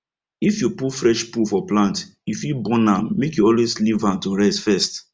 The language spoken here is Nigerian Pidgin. if you put fresh poo for plant e fit burn am make you always leave am to rest first